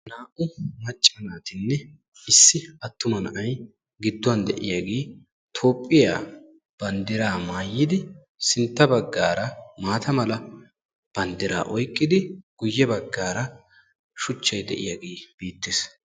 Naa"u macca naatinne issi attuma na"ay gidduwan de"iyaagee Toophphiyaa banddiraa maayidi sintta baggaara maata mala banddiraa oyqqidi guyye baggaara shuchchay de"iyaagee beettees.